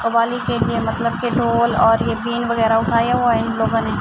قوالی چل رہی ہے مطلب کی دھول اور یہ بین وگیرہ اٹھایا ہوا ہے ان لوگو نے--